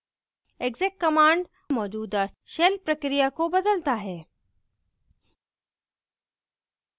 exec command मौजूदा shell प्रक्रिया को बदलता है